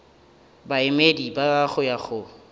baemedi ba go ya go